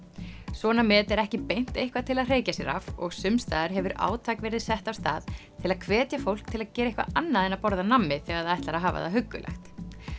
svona met er ekki beint eitthvað til að hreykja sér af og sums staðar hefur átak verið sett af stað til að hvetja fólk til að gera eitthvað annað en að borða nammi þegar það ætlar að hafa það huggulegt